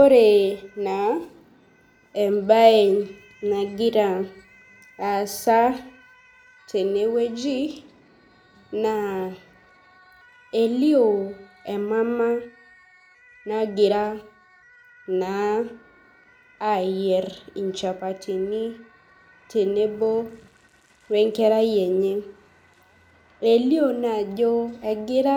Ore naa ebae nagira aasa teneweji naa elio emaama nagiraa naa ayier ichapatini tenebi wee nkerai enye. Elio naa ajo egira